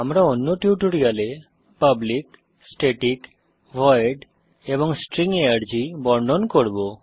আমরা অন্য টিউটোরিয়ালে পাবলিক স্ট্যাটিক ভয়েড এবং স্ট্রিং আর্গ বর্ণন করব